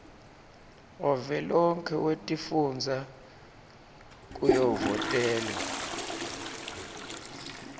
wavelonkhe wetifundza kuyovotelwa